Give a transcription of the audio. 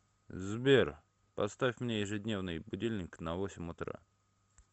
сбер поставь мне ежедневный будильник на восемь утра